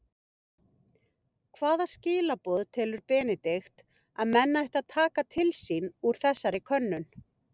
Hvaða skilaboð telur Benedikt að menn ættu að taka til sín úr þessari könnun?